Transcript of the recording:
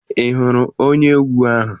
Ị hụrụ onye egwu ahụ?